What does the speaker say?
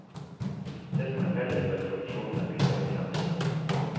Det som er felles for profesjonene, vil stå i sentrum.